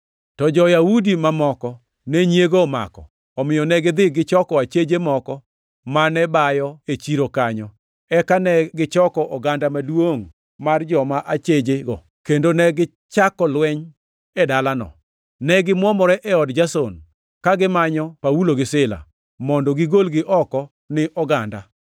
To jo-Yahudi mamoko ne nyiego omako; omiyo negidhi gichoko acheje moko mane bayo e chiro kanyo, eka negichoko oganda maduongʼ mar joma achejego, kendo negichako lweny e dalano. Ne gimwomore e od Jason, ka gimanyo Paulo gi Sila, mondo gigolgi oko ni oganda.